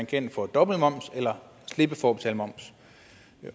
kan få dobbeltmoms eller slippe for at betale moms